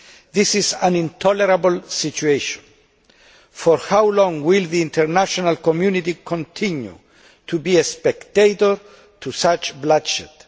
This is an intolerable situation. For how long will the international community continue to be a spectator to such bloodshed?